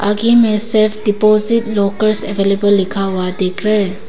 में self deposit lockers available लिखा हुआ दिख रहा है।